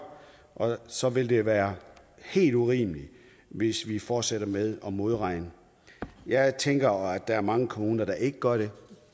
og så vil det være helt urimeligt hvis vi fortsætter med at modregne jeg tænker at der er mange kommuner der ikke gør det